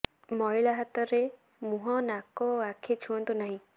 ମଇଳା ହାତରେ ମୁହଁ ନାକ ଓ ଆଖି ଛୁଅନ୍ତୁ ନାହିଁ